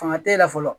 Fanga te yen la fɔlɔ